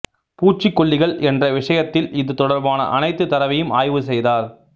பூச்சிக்கொல்லிகள் என்ற விஷயத்தில் இது தொடர்பான அனைத்து தரவையும் ஆய்வு செய்தார்